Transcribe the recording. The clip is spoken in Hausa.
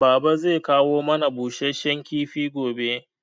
Baba zai kawo mana busasshen kifi gobe